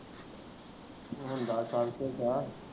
ਮੁੰਡਾ ਗਿਆ।